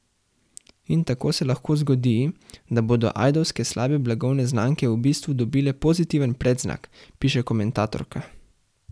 In tako se lahko zgodi, da bodo ajdovske slabe blagovne znamke v bistvu dobile pozitiven predznak, piše komentatorka.